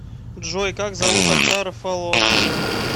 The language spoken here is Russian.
джой как зовут отца рафаловского